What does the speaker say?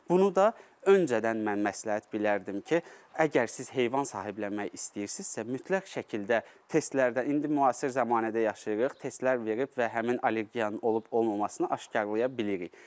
Bunu da öncədən mən məsləhət bilərdim ki, əgər siz heyvan sahiblənmək istəyirsinizsə, mütləq şəkildə testlərdən, indi müasir zəmanədə yaşayırıq, testlər verib və həmin allergiyanın olub-olmamasını aşkaralaya bilirik.